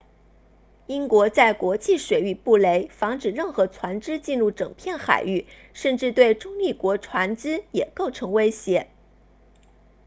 英国在国际水域布雷防止任何船只进入整片海域甚至对中立国船只也构成威胁